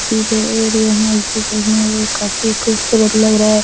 सीधे और ये मस्जिद देखने में काफी खूबसूरत लग रहा --